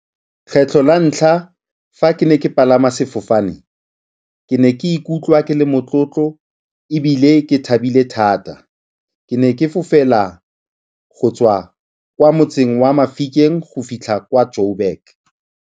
Kgetlho la ntlha fa ke ne ke palama sefofane ke ne ke ikutlwa ke le motlotlo ebile ke thabile thata. Ke ne ke fofela go tswa kwa motseng wa Mafikeng go fitlha kwa Joburg.